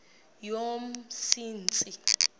yomsintsi